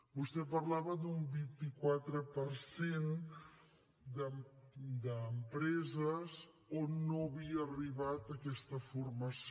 vostè parlava d’un vint quatre per cent d’empreses on no havia arribat aquesta formació